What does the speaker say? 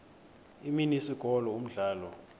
imini isikolo umdlalo